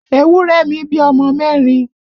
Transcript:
Ewúrẹ̀ mi bí ọmọ mẹ́rin